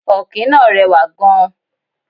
Ọ̀kín náà rẹwà gan.